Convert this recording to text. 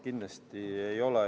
Kindlasti ei ole.